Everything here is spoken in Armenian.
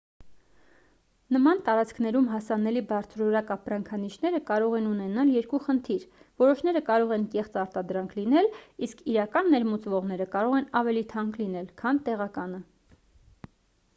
նման տարածքներում հասանելի բարձրորակ ապրանքանիշերը կարող են ունենալ երկու խնդիր որոշները կարող են կեղծ արտադրանք լինել իսկ իրական ներմուծվողները կարող են ավելի թանկ լինել քան տեղականը